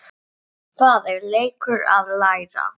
Það er leikur að læra